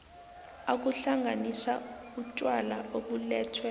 ukuhlanganisa utjwala obulethwe